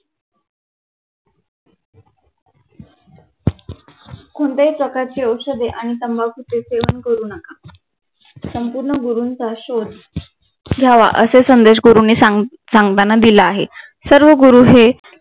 कोणत्याही प्रकारची औषधे आणि तंबाकूचे सेवन करू नका संपूर्ण गुरूंचा शोध लावा असा संदेश गुरूंनी सांग सांगताना दिला आहे. सर्व गुरु हे